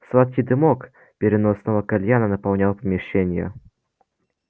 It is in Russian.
сладкий дымок переносного кальяна наполнял помещение